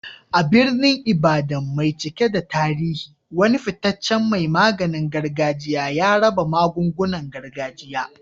A birnin Ibadan mai cike da tarihi, wani fitaccen mai maganin gargajiya ya raba magungunan gargajiya.